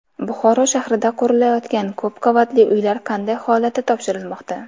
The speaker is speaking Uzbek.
Buxoro shahrida qurilayotgan ko‘p qavatli uylar qanday holatda topshirilmoqda?.